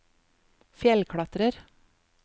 fjellklatrer